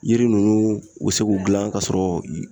Yiri nunnu u be se k'u gilan k'a sɔrɔ